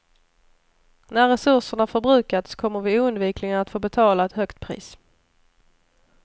När resurserna förbrukats kommer vi oundvikligen att få betala ett högt pris.